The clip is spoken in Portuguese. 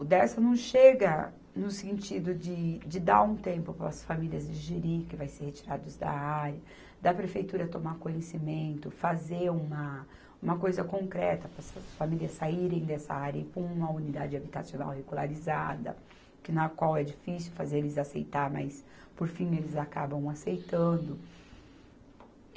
O Dersa não chega no sentido de, de dar um tempo para as famílias digerir, que vai ser retirados da área, da prefeitura tomar conhecimento, fazer uma, uma coisa concreta para essas famílias saírem dessa área e ir para uma unidade habitacional regularizada, que na qual é difícil fazer eles aceitarem, mas por fim eles acabam aceitando.